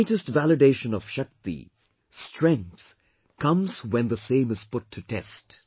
The greatest validation of SHAKTI, strength, comes when the same is put to test